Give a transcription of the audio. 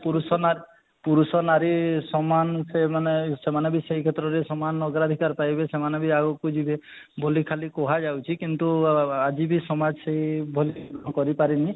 ପୁରୁଷ ନାରୀ ପୁରୁଷ ନାରୀ ସମାନ ସେମାନେ ସେମାନେ ବି ସେଇ କ୍ଷେତ୍ରରେ ସମାନ ଅଧିକାର ପାଇବେ ସେମାନେ ବି ଆଗକୁ ଯିବେ ବୋଲି ଖାଲି କୁହା ଯାଉଛି କିନ୍ତୁ ଆଜି ବି ସମାଜ ସେଇ ଭଳି କରି ପାରିନି